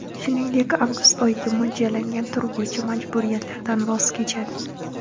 Shuningdek, avgust oyiga mo‘ljallangan tur bo‘yicha majburiyatlaridan voz kechadi.